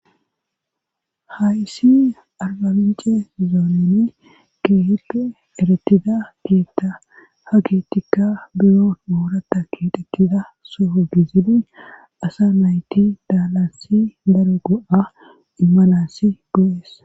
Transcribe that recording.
hayssi arbabince zooneni keehippe eretida keetta ha keettikka biro moorata kidekiza soho gizini asa nayti daalansi daro go7a immanassi bu7es